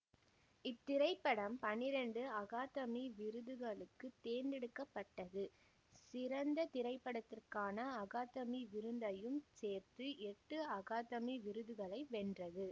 இத்திரைப்படம் பன்னிரண்டு அகாதமி விருதுகளுக்கு தேர்ந்தெடுக்க பட்டது சிறந்த திரைப்படத்திற்கான அகாதமி விருதையும் சேர்த்து எட்டு அகாதமி விருதுகளை வென்றது